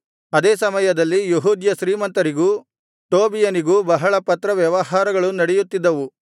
ಅದೇ ಸಮಯದಲ್ಲಿ ಯೆಹೂದ್ಯ ಶ್ರೀಮಂತರಿಗೂ ಟೋಬೀಯನಿಗೂ ಬಹಳ ಪತ್ರ ವ್ಯವಹಾರಗಳು ನಡೆಯುತ್ತಿದ್ದವು